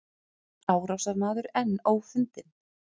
Árásarmaður enn ófundinn